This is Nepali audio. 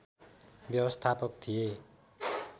व्यवस्थापक थिए